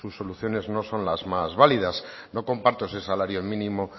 sus soluciones no son las más válidas no comparto ese salario mínimo